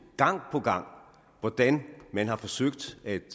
hvordan man har forsøgt at